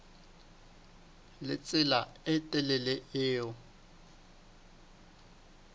le tsela e telele eo